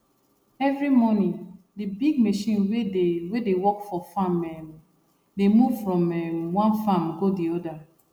every morning de big machine wey dey wey dey work for farm um dey move from um one farm go di other